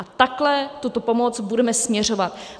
A takhle tuto pomoc budeme směřovat.